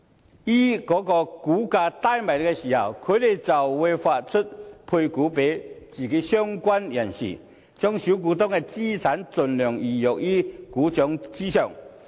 再於股價低落時配股予相關人士，把小股東的資產盡量魚肉於股掌上。